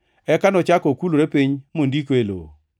Eka nochako okulore piny mondiko e lowo.